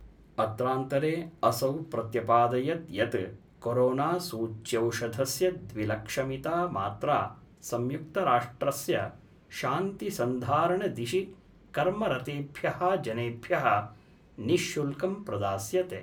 अत्रांतरे असौ प्रत्यपादयत् यत् कोरोनासूच्यौषधस्य द्विलक्षमिता मात्रा संयुक्तराष्ट्रस्य शान्तिसन्धारणदिशि कर्मरतेभ्य: जनेभ्य: निःशुल्कं प्रदास्यते।